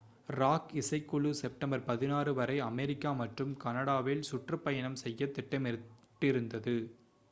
rock இசைக்குழு September 16 வரை America மற்றும் கனடாவில் சுற்றுப்பயணம் செய்யத் திட்டமிட்டிருந்தது